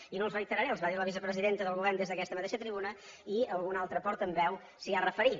i no els reiteraré els va dir la vicepresidenta del govern des d’aquesta mateixa tribuna i algun altre portaveu s’hi ha referit